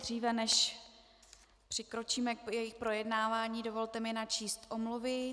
Dříve než přikročíme k jejich projednávání, dovolte mi načíst omluvy.